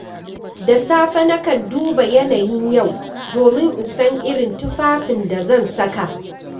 Da safe, nakan duba yanayin yau domin in san irin tufafin da zan saka.